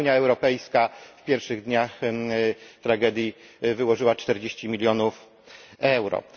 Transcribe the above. Sama Unia Europejska w pierwszych dniach tragedii wyłożyła 40 milionów euro.